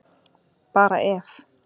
Bara ef.